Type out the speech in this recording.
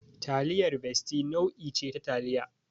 Taliyar Bestie nau'i ce ta taliya.